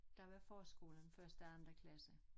Der var forskolen første anden klasse